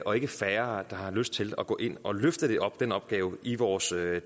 og ikke færre der har lyst til at gå ind og løfte den opgave i vores